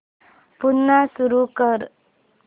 पुन्हा सुरू कर